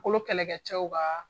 Kolo kɛlɛkɛ cɛw ka